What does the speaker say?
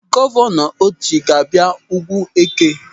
Gọvanọ Otti ga-abịa Ugwueke.